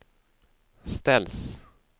ställs